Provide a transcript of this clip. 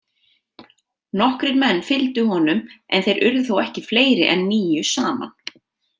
Nokkrir menn fylgdu honum en þeir urðu þó ekki fleiri en níu saman.